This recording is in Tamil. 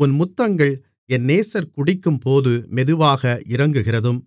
13 உன் முத்தங்கள் என் நேசர் குடிக்கும்போது மெதுவாக இறங்குகிறதும்